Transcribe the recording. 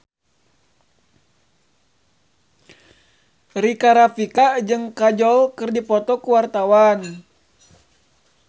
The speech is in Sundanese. Rika Rafika jeung Kajol keur dipoto ku wartawan